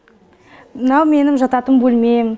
мынау менің жататын бөлмем